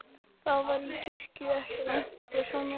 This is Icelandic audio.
Það var í kirkju ekki langt frá sjónum.